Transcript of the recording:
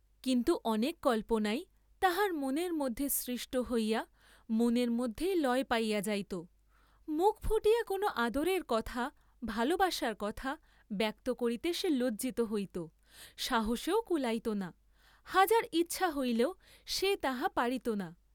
কিন্তু অনেক কল্পনাই তাহার মনের মধ্যে সৃষ্ট হইয়া মনের মধ্যেই লয় পাইয়া যাইত, মুখ ফুটিয়া কোন আদরের কথা, ভালবাসার কথা ব্যক্ত করিতে সে লজ্জিত হইত, সাহসেও কুলাইত না, হাজার ইচ্ছা হইলেও সে তাহা পারিত না।